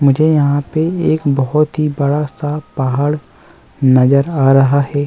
मुझे यहाँ पे बहोत-ही बड़ा सा पहाड़ नज़र आ रहा है।